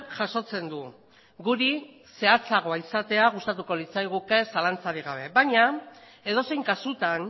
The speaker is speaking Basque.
jasotzen du guri zehatzagoa izatea gustatuko litzaiguke zalantzarik gabe baina edozein kasutan